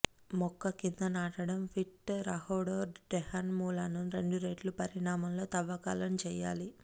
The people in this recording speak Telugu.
మొక్క కింద నాటడం పిట్ రహోడోడెండ్రాన్ మూలాలను రెండురెట్లు పరిమాణంలో త్రవ్వకాలను చేయాలి